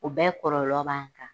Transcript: U bɛ kɔlɔlɔ b'a kan